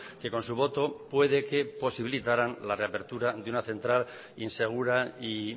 que con su voto puede que posibilitaran la reapertura de una central insegura y